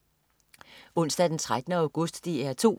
Onsdag den 13. august - DR 2: